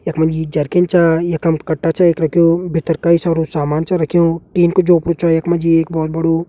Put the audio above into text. यक मजी जरकिन चा। यखम कट्टा च एक रख्यु भित्तर कई सारु सामान च रख्यु। टीन कु झोपड़ु छ यक मजी एक भौत बड़ु।